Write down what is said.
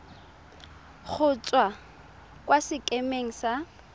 go tswa kwa sekemeng sa